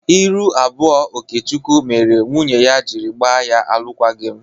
Ndu iru abụọ Okechukwu mere nwunye ya jiri gba ya alụKwaghị m.